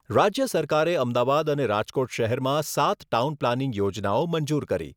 રાજ્ય સરકારે અમદાવાદ અને રાજકોટ શહેરમાં સાત ટાઉન પ્લાનિંગ યોજનાઓ મંજૂર કરી.